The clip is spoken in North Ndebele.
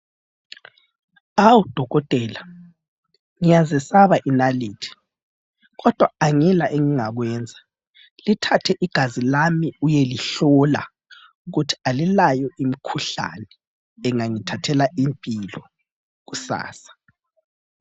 Awu dokotela, ngiyazesaba inalithi, kodwa angila engingakwenza lithathe igazi lami uyelihlola ukuthi alilawo umkhuhlane engangithathela impilo kusasa.